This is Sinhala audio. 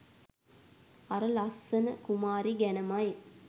අර ලස්සන කුමාරි ගැනමයි.